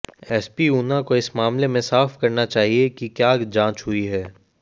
SP Una को इस मामले में साफ करना चाहिए कि क्या जांच हुई है